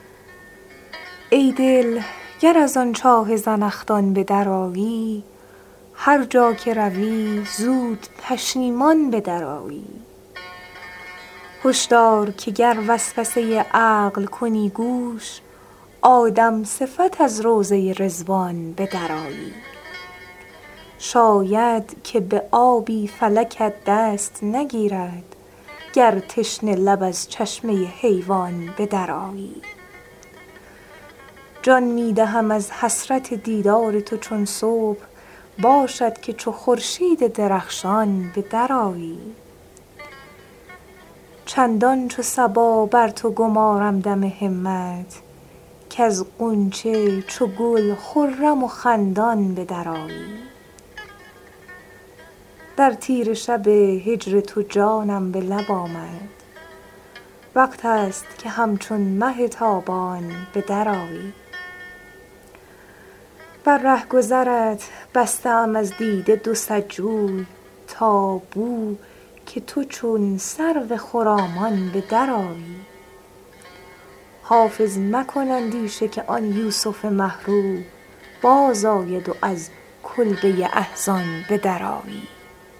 ای دل گر از آن چاه زنخدان به درآیی هر جا که روی زود پشیمان به درآیی هش دار که گر وسوسه عقل کنی گوش آدم صفت از روضه رضوان به درآیی شاید که به آبی فلکت دست نگیرد گر تشنه لب از چشمه حیوان به درآیی جان می دهم از حسرت دیدار تو چون صبح باشد که چو خورشید درخشان به درآیی چندان چو صبا بر تو گمارم دم همت کز غنچه چو گل خرم و خندان به درآیی در تیره شب هجر تو جانم به لب آمد وقت است که همچون مه تابان به درآیی بر رهگذرت بسته ام از دیده دو صد جوی تا بو که تو چون سرو خرامان به درآیی حافظ مکن اندیشه که آن یوسف مه رو بازآید و از کلبه احزان به درآیی